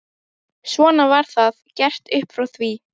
Svona var það gert upp frá því.